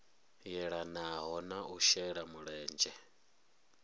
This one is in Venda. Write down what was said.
yelanaho na u shela mulenzhe